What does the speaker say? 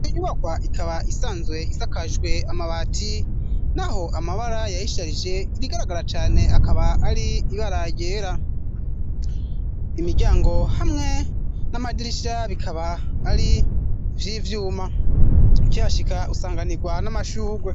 Iyo nyubakwa ikaba isanzwe isakajwe amabati naho amabara yayisharije irigaragara cane akaba ari ibara ryera imiryango hamwe n'amadirisha bikaba ari vy'ivyuma ukihashika usanganirwa n'amashurwe